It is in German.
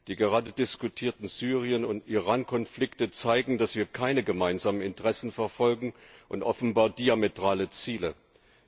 Die gerade diskutierten Syrien und Iran Konflikte zeigen, dass wir keine gemeinsamen Interessen verfolgen und offenbar diametrale Ziele anstreben.